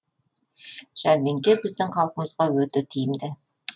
жәрмеңке біздің халқымызға өте тиімді